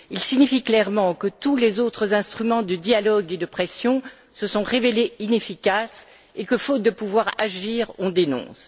Il signifie clairement que tous les autres instruments de dialogue et de pression se sont révélés inefficaces et que, faute de pouvoir agir, on dénonce.